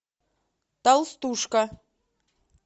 толстушка